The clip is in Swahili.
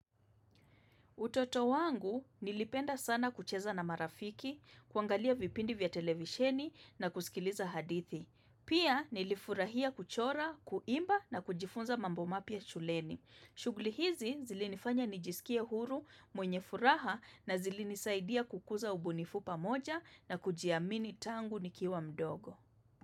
Utoto wangu nilipenda sana kucheza na marafiki, kuangalia vipindi vya televisheni na kusikiliza hadithi. Pia nilifurahia kuchora, kuimba na kujifunza mambo mapya shuleni. Shughuli hizi zilinifanya nijisikie huru, mwenye furaha na zilinisaidia kukuza ubunifu pamoja na kujiamini tangu nikiwa mdogo.